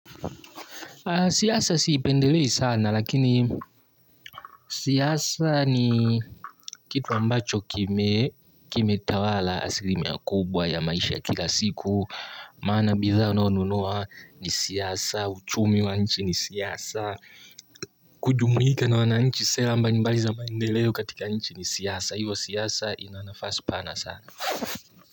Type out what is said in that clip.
Siasa siipendelei sana lakini siasa ni kitu ambacho kime kime tawala asilimia kubwa ya maisha ya kila siku. Maana bidhaa unayonunua ni siasa, uchumi wa nchi ni siasa. Kujumuika na wananchi sera mbambali za maendeleo katika nchi ni siasa. Hivo siasa ina nafasi pana sana.